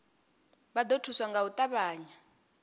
vha ḓo thuswa nga u ṱavhanya